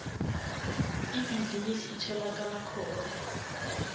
ibhizinisi itholakala khona